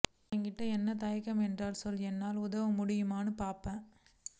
எங்கிட்ட என்ன தயக்கம் என்னன்னு சொன்னா என்னால உதவ முடியுமான்னு பார்பேன்